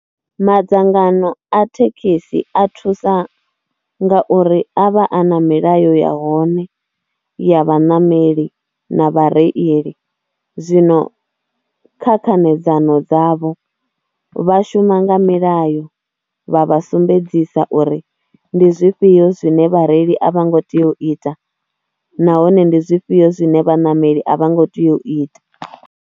Madzangano a thekhisi a thusa ngauri a vha a na milayo ya hone ya vhaṋameli na vhareili zwino kha khanedzano dzavho vha shuma nga milayo vha vha sumbedzisa uri ndi zwifhio zwine vhareili a vha ngo tea u ita nahone ndi zwifhio zwine vhaṋameli a vha ngo tea u ita.